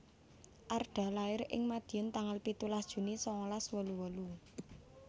Arda lair ing Madiun tanggal pitulas Juni sangalas wolu wolu